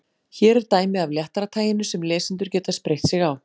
Hér er dæmi af léttara taginu sem lesendur geta spreytt sig á.